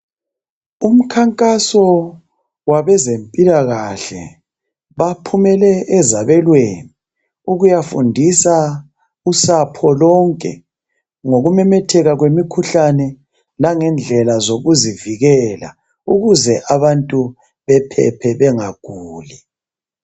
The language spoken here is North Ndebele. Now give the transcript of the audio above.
Umkhankaso wabezemphilakahle baphumele ezabeleni ukuyafundisa usapho lonke. Ngokumemetheka kwemikhuhlane langendlela zokuzivikela ukuze abantu bephephe bengaguli.